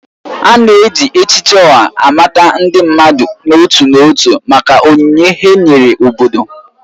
A na-eji echichi Oha amata ndị mmadụ n'otu n'otu maka onyinye ha nyere obodo.